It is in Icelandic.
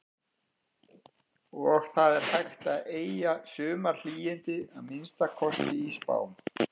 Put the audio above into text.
Og það er hægt að eygja sumarhlýindi, að minnsta kosti í spám.